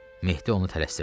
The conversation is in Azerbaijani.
Mehdi onu tələsdirdi.